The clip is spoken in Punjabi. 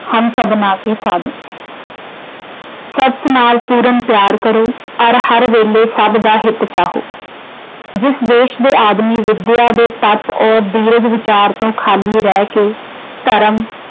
ਹਮ ਸਭਨਾ ਕੇ ਸਾਜਨ। ਸੱਚ ਨਾਲ ਪੂਰਨ ਪਿਆਰ ਕਰੋ ਅਤੇ ਹਰ ਵੇਲੇ ਸਭ ਦਾ ਹਿਤ ਚਾਹੋ। ਜਿਸ ਦੇਸ਼ ਦੇ ਆਦਮੀ ਵਿੱਦਿਆ ਦੇ ਤੱਤ ਅਤੇ ਦੀਰਘ ਵਿਚਾਰ ਤੋਂ ਖਾਲੀ ਰਹਿ ਕੇ ਧਰਮ